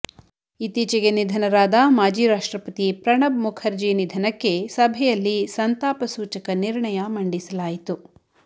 ಇತ್ತೀಚಿಗೆ ನಿಧನರಾದ ಮಾಜಿ ರಾಷ್ಟ್ರಪತಿ ಪ್ರಣಬ್ ಮುಖರ್ಜಿ ನಿಧನಕ್ಕೆ ಸಭೆಯಲ್ಲಿ ಸಂತಾಪ ಸೂಚಕ ನಿರ್ಣಯ ಮಂಡಿಸಲಾಯಿತು